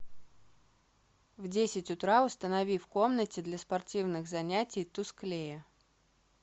в десять утра установи в комнате для спортивных занятий тусклее